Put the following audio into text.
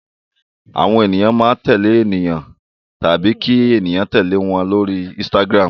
Àwọn ènìyàn máa ń tẹ̀lé èèyàn tàbí kí ènìyàn tẹ̀lé wọn lórí Instagram.